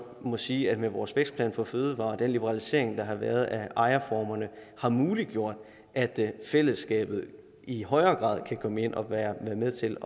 må sige at vores vækstplan for fødevarer og den liberalisering der har været af ejerformerne har muliggjort at fællesskabet i højere grad kan komme ind og være med til